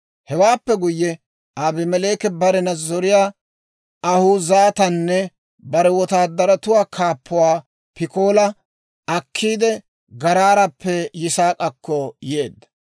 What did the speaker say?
Hewaappe guyye, Abimeleeki barena zoriyaa Ahuuzatanne bare wotaadaratuwaa kaappuwaa Pikoola akkiidde, Garaarappe Yisaak'akko yeedda.